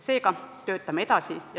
Seega, töötame edasi.